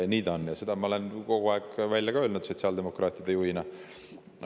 Nii ta on ja seda ma olen sotsiaaldemokraatide juhina kogu aeg öelnud.